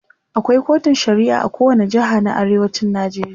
akwai kotun shari'a a kowani jeha na arewacin Najeriya